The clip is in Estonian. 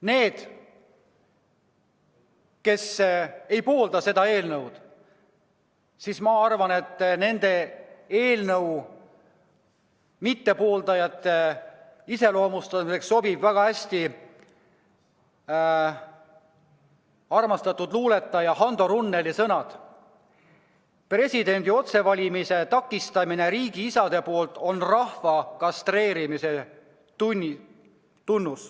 Need, kes ei poolda seda eelnõu – ma arvan, et nende iseloomustamiseks sobivad väga hästi armastatud luuletaja Hando Runneli sõnad: presidendi otsevalimise takistamine riigiisade poolt on rahva kastreerimine.